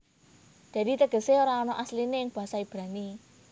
Dadi tegesé ora ana asliné ing basa Ibrani